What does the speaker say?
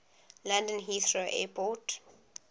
london heathrow airport